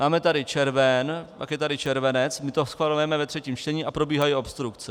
Máme tady červen, pak je tady červenec, my to schvalujeme ve třetím čtení a probíhají obstrukce.